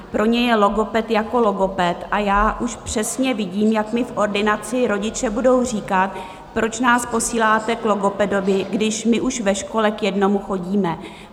Pro ně je logoped jako logoped a já už přesně vidím, jak mi v ordinaci rodiče budou říkat: Proč nás posíláte k logopedovi, když my už ve škole k jednomu chodíme?